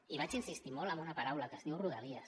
i vaig insistir molt en una paraula que es diu rodalies